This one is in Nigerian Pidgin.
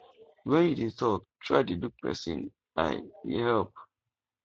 when you dey talk try dey look person eye e help